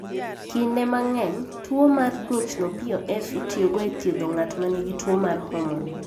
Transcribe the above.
Kinde mang'eny, tuwo mar ng'ichno (POF) itiyogo e thiedho ng'at ma nigi tuwo mar hormone.